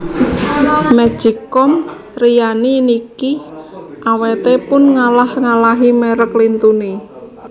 Magic com Rinnai niki awete pun ngalah ngalahi merk lintune